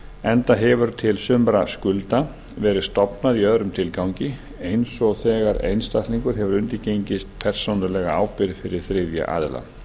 enda hefur til sumra skulda verið stofnað í öðrum tilgangi eins og þegar einstaklingar hafa undirgengist persónulega ábyrgð fyrir þriðja aðila